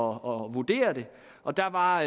vurdere og der var